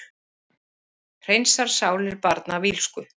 Hreinsar sálir barna af illsku